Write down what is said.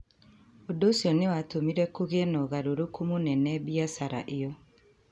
Ũndũ ũcio nĩ watũmire kũgĩe na ũgarũrũku mũnene biacara ĩyo.